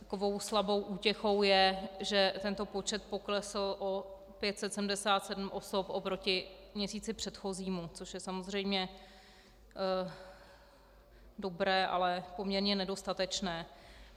Takovou slabou útěchou je, že tento počet poklesl o 577 osob oproti měsíci předchozímu, což je samozřejmě dobré, ale poměrně nedostatečné.